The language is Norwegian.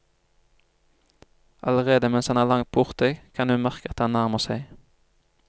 Allerede mens han er langt borte, kan hun merke at han nærmer seg.